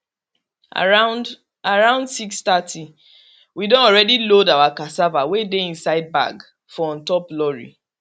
around around six thirty we don already load our cassava wey dey inside bag for on top lorry